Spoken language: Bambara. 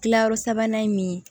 Kilayɔrɔ sabanan ye min ye